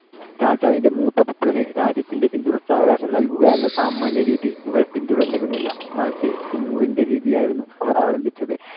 രാജാവിന്‍ടെ മൂത്ത പുത്രന്‌ രാജ്യത്തിന്‍ടെ പിന്തുടർച്ചാവകാശം നൽകുക എന്ന സാമാന്യരീതി മുഗൾ പിന്തുടർന്നിരുന്നില്ല. മറിച്ച് തിമൂറിന്‍ടെ രീതിയായിരുന്നു അവർ അവലംബിച്ചത്.